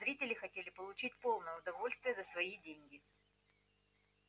зрители хотели получить полное удовольствие за свои деньги